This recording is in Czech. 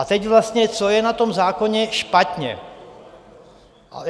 A teď vlastně co je na tom zákoně špatně.